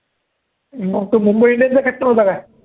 मग तो मुंबई इंडियन्सने ला caaptain होता काय